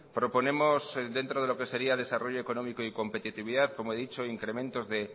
proponemos dentro de lo que sería desarrollo económico y competitividad como he dicho incrementos de